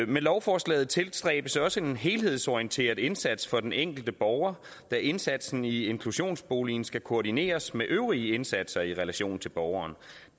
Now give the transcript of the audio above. med lovforslaget tilstræbes også en helhedsorienteret indsats for den enkelte borger da indsatsen i inklusionsboligen skal koordineres med øvrige indsatser i relation til borgeren og